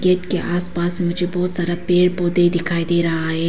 Gate के आस पास मुझे बहोत सारा पेड़ पौधे दिखाई दे रहा है।